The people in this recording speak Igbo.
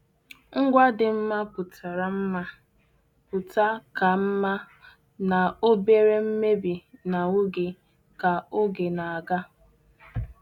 Ngwa dị mma pụtara mma pụta ka mma na obere mmebi n'ahụ gị ka oge na-aga.